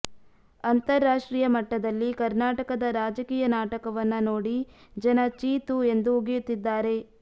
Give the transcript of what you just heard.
ಅಂತರಾಷ್ಟ್ರೀಯ ಮಟ್ಟದಲ್ಲಿ ಕರ್ನಾಟಕದ ರಾಜಕೀಯ ನಾಟಕವನ್ನ ನೋಡಿ ಜನ ಚೀ ತೂ ಎಂದು ಉಗಿಯುತ್ತಿದ್ದಾರೆ